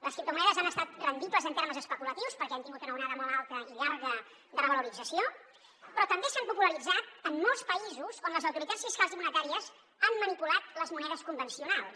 les criptomonedes han estat rendibles en termes especulatius perquè han tingut una onada molt alta i llarga de revalorització però també s’han popularitzat en molts països on les autoritats fiscals i monetàries han manipulat les monedes convencionals